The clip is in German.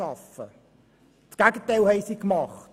Das Gegenteil haben sie getan.